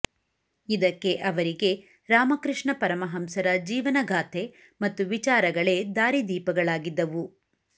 ಇದಕ್ಕೆ ಅವರಿಗೆ ರಾಮಕೃಷ್ಣ ಪರಮಹಂಸರ ಜೀವನಗಾಥೆ ಮತ್ತು ವಿಚಾರಗಳೇ ದಾರಿ ದೀಪಗಳಾಗಿದ್ದವು